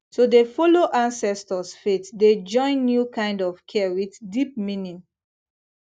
to dey follow ancestors faith dey join new kind of care with deep meaning